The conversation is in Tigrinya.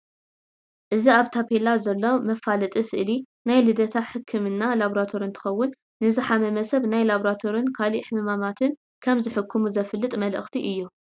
እዚ ኣብ ታፔላ ዘሎ መፋለጢ ስእሊ ናይ ልደታ ሕክምናን ላቦራቶሪ እንትከውን ንዝሓመመ ሰብ ናይ ላቦራቶሪን ካልእ ሕማማትን ከም ዝሕክሙ ዘፍልጥ መልእክቲ እዩ።